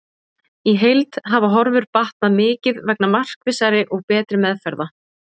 Í heild hafa horfur batnað mikið vegna markvissari og betri meðferða.